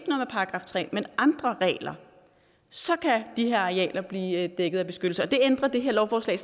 § tre men andre regler så kan de her arealer blive dækket af beskyttelse og det ændrer det her lovforslag